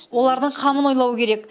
олардың қамын ойлау керек